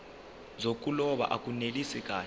zokuloba akunelisi kahle